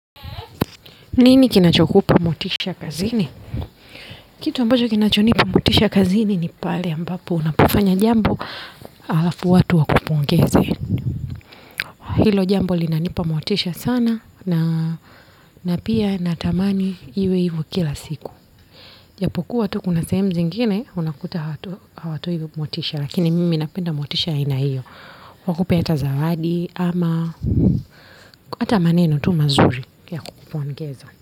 Nini kinachokupa motisha kazini? Kitu ambacho kinacho nipa motisha kazini ni pale ambapo unapofanya jambo halafu watu wakupongeze. Hilo jambo linanipa motisha sana na na pia natamani iwe hivyo kila siku. Japokuwa tu kuna sehemu zingine unakuta hawatoi motisha lakini mimi napenda motisha aina hiyo. Wakupe hata zawadi ama hata maneno tu mazuri ya kukupongeza.